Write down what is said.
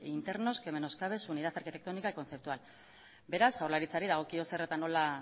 internos que menoscabe su unidad arquitectónica y conceptual beraz jaurlaritzari dagokio zer eta nola